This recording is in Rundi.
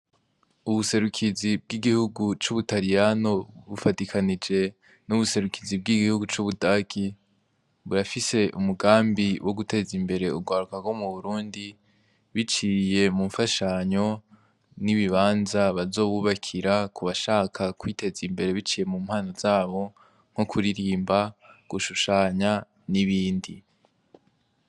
Ubuserukizi bw'igihugu c'ubutaliyano, bufadikanije n'ubuserukizi bw'igihugu c'ubudagi, burafise umugambi wo guteza imbere urwarukarwo mu burundi biciye mu mfashanyo n'ibibanza bazowubakira ku bashaka kwiteza imbere biciye mu mpana zabo nk'ukuririmba gushushanya n'ibindi.